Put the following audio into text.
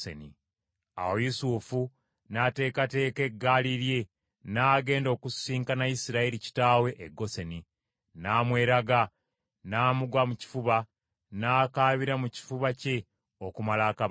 Awo Yusufu n’ateekateeka eggaali lye n’agenda okusisinkana Isirayiri kitaawe e Goseni, n’amweraga, n’amugwa mu kifuba n’akaabira mu kifuba kye okumala akabanga.